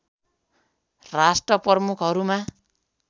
राष्ट्र प्रमुखहरूमा